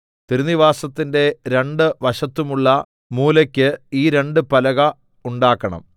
തിരുനിവാസത്തിന്റെ രണ്ട് വശത്തുമുള്ള മൂലയ്ക്ക് ഈ രണ്ട് പലക ഉണ്ടാക്കണം